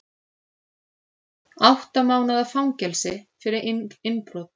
Átta mánaða fangelsi fyrir innbrot